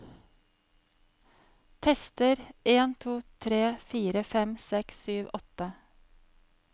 Tester en to tre fire fem seks sju åtte